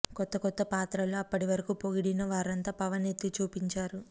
కొత్త కొత్త పాత్రలు అప్పటి వరకు పొగిడిన వారంతా పవన్ ఎత్తి చూపించారు